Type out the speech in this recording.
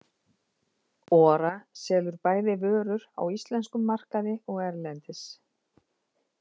Ora selur bæði vörur á íslenskum markaði og erlendis.